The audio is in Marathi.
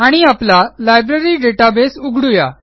आणि आपला लायब्ररी डेटाबेस उघडू या